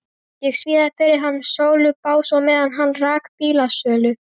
Ég smíðaði fyrir hann sölubás á meðan hann rak bílasölu.